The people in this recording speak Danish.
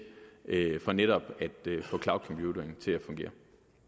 for netop at til at fungere